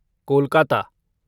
Kolkata